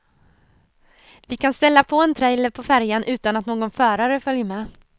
Vi kan ställa på en trailer på färjan utan att någon förare följer med.